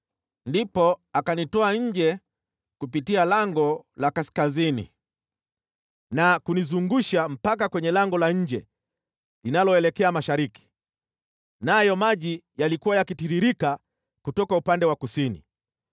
Ndipo akanitoa nje kupitia lango la kaskazini na kunizungusha mpaka kwenye lango la nje linaloelekea mashariki, nayo maji yalikuwa yakitiririka kutoka upande wa kusini.